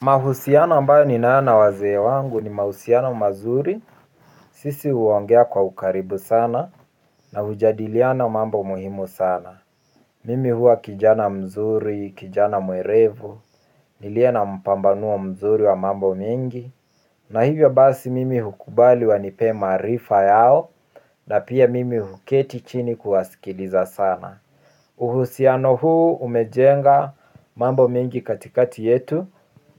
Mahusiana ambayo ni nayo na wazee wangu ni mahusiano mazuri sisi huongea kwa ukaribu sana na hujadiliana mambo muhimu sana. Mimi huwa kijana mzuri kijana mwelevu niliye na mpambano mzuri wa mambo mingi. Na hivyo basi mimi hukubali wa nipee maarifa yao na pia mimi huketi chini kuwasikiliza sana. Uhusiano huu umejenga mambo mingi katikati yetu,